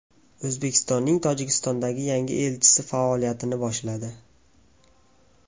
O‘zbekistonning Tojikistondagi yangi elchisi faoliyatini boshladi.